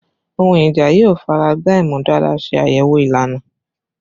Ohun ija yoo faragba imudara se ayewo ilana